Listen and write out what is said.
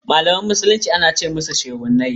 Malaman musulmi ana ce musushehunai.